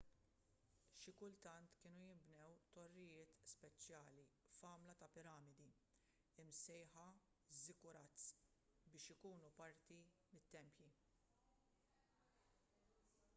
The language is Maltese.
xi kultant kienu jinbnew torrijiet speċjali fl-għamla ta' piramidi imsejħa ziggurats biex ikunu parti mit-tempji